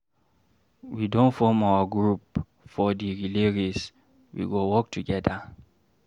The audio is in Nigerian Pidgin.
We don form our group for di relay race, we go work togeda.